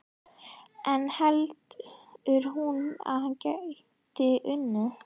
En heldur hún að hann gæti unnið?